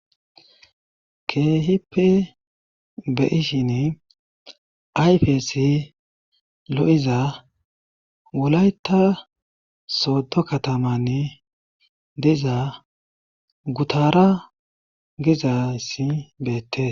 Keehipe be'ishin ayfesi lo'iza wulayta soddo katamanni diza gutara gizayssi beettes.